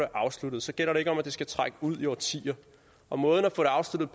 afsluttet så gælder det ikke om at det skal trække ud i årtier og måden at